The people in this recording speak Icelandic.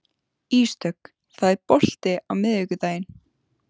Ísdögg, er bolti á miðvikudaginn?